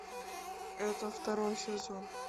это второй сезон